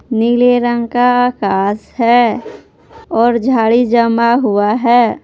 नीले रंग का आकाश है और झाड़ी जमा हुआ है।